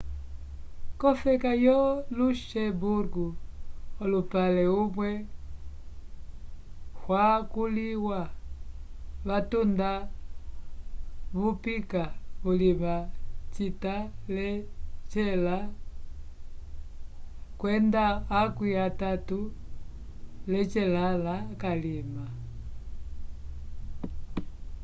kofeka yo luxemburgo olupale umwe hwakuliwa vatuda vupica vulima cita lecela kwenda akwi atatu lecelãlã calima